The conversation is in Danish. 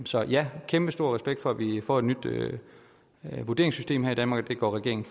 så ja kæmpestor respekt for at vi får et nyt vurderingssystem her i danmark og at regeringen